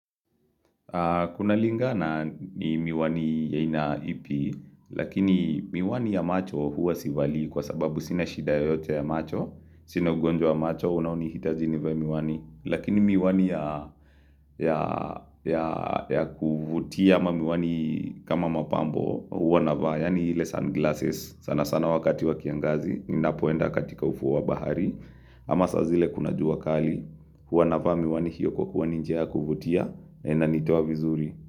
Kuna lingana ni miwani ya aina ipi, lakini miwani ya macho huwa sivai kwa sababu sina shida yoyote ya macho, sina ugonjwa macho, unaonihitaji nivae miwani. Lakini miwani ya kuvutia ama miwani kama mapambo huwa navaa, yani ile "sunglasses" sana sana wakati wa kiangazi, ninapoenda katika ufuo wabahari. Ama saa zile kuna jua kali huwa navaa miwani hiyo kuwa ni njia ya kuvutia na inanitoa vizuri.